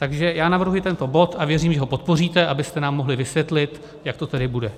Takže já navrhuji tento bod a věřím, že ho podpoříte, abyste nám mohli vysvětlit, jak to tedy bude.